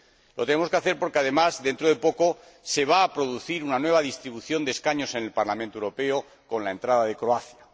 Lo tenemos que hacer porque, además, dentro de poco, se va a producir una nueva distribución de escaños en el Parlamento Europeo con la entrada de Croacia.